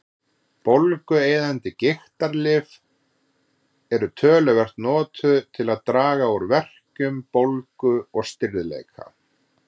Bólgueyðandi gigtarlyf eru töluvert notuð til að draga úr verkjum, bólgu og stirðleika.